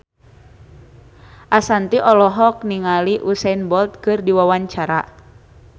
Ashanti olohok ningali Usain Bolt keur diwawancara